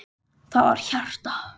Það var hjarta!